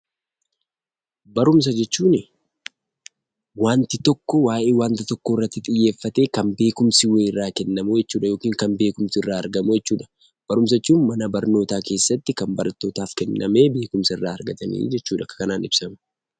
Barumsa jechuunii wanti tokko waa'ee wanta tokkoorratti xiyyeeffatee kan beekumsi wayii irraa kennamuu jechuudha yookin kan beekumsi irraa argamu jechuudha. Barumsa jechuun mana barnootaa keessatti kan barattootaf kennamee beekumsa irraa argatanii jechuudha. Akka kanaan ibsama.